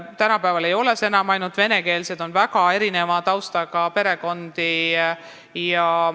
Tänapäeval ei ole need enam ainult vene lapsed, on väga erineva taustaga perekondi.